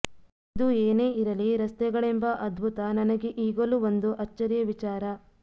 ಇದು ಏನೇ ಇರಲಿ ರಸ್ತೆಗಳೆಂಬ ಅದ್ಭುತ ನನಗೆ ಈಗಲೂ ಒಂದು ಅಚ್ಚರಿಯ ವಿಚಾರ